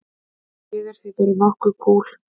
Ég er því bara nokk kúl.